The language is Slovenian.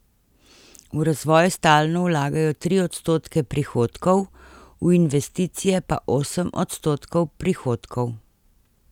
V razvoj stalno vlagajo tri odstotke prihodkov, v investicije pa osem odstotkov prihodkov.